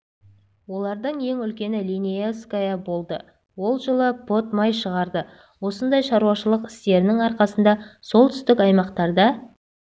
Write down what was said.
олардың ең үлкені линеевская болды ол жылы пұт май шығарды осындай шаруашылық істерінің арқасында солтүстік аймақтарда